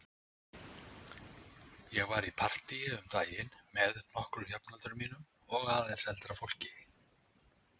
Ég var í partíi um daginn með nokkrum jafnöldrum mínum og aðeins eldra fólki.